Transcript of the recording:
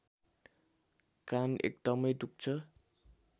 कान एकदमै दुख्छ